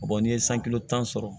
n'i ye tan sɔrɔ